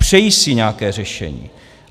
Přejí si nějaké řešení.